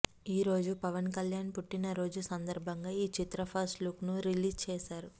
ఈరోజు పవన్ కళ్యాణ్ పుట్టిన రోజు సందర్భాంగా ఈ చిత్ర ఫస్ట్ లుక్ ను రిలీజ్ చేసారు